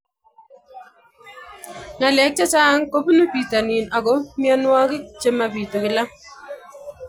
Ng'alek chechang kopunu pitonin ako mianwogik che mapitu kila